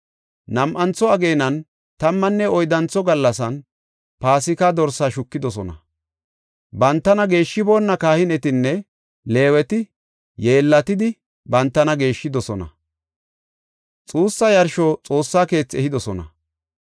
Nam7antho ageenan, tammanne oyddantho gallasan Paasika dorsaa shukidosona. Bantana geeshshiboonna kahinetinne Leeweti yeellatidi, bantana geeshshidosona; xuussa yarsho Xoossa keethi ehidosona.